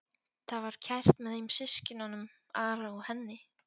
Það var kært með þeim systkinunum, Ara og henni.